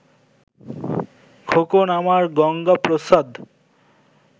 খোকন্ আমার গঙ্গাপ্রসাদ